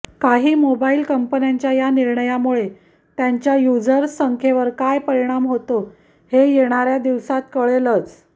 काही मोबाईल कंपन्यांच्या या निर्णयामुळे त्यांच्या युझर्सच्या संख्येवर काय परिणाम होतो हे येणाऱ्या दिवसात कळेलच